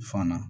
Fana